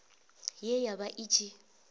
ye ya vha i tshi